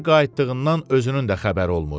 Necə qayıtdığından özünün də xəbəri olmur.